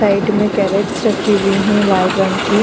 Side में carrots रखी हुई हैं लाल रंग की।